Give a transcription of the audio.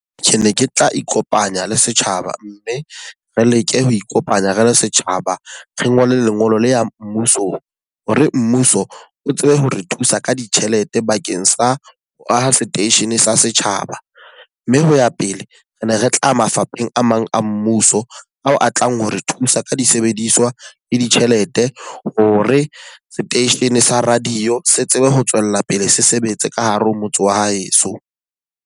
Tjhe, ne ke tla ikopanya le setjhaba mme re leke ho ikopanya re le setjhaba, re ngole lengolo le ya mmuso. Hore mmuso o tsebe ho re thusa ka ditjhelete bakeng sa ho aha seteishene sa setjhaba. Mme ho ya pele, re ne re tla mafapheng a mang a mmuso a o atlang ho re thusa ka disebediswa le ditjhelete hore seteishene sa radio se tsebe ho tswella pele se sebetse ka hare ho motse wa heso.